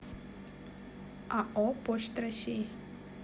ао почта россии